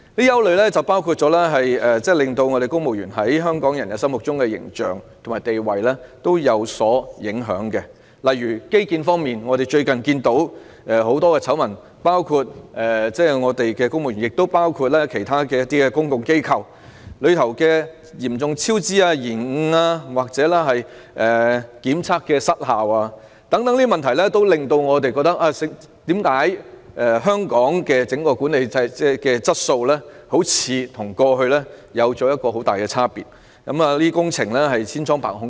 有不少事情影響到公務員在香港人心目中的形象和地位，例如在基建方面，我們最近看到眾多醜聞，涉及公務員及其他公共機構嚴重超支、延誤或檢測失效等問題，讓人覺得香港的整體管治質素似乎與過去相比出現很大差別，以及工程千瘡百孔。